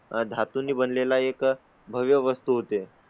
धातू ने बनले ला एक भव्य वस्तू होते.